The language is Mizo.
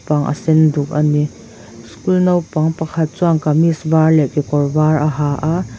aw a sen duk ani school naupang pakhat chuan kamis var leh kekawr var a ha a.